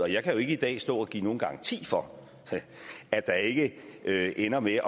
jeg kan jo ikke i dag stå og give nogen garanti for at der ikke ender med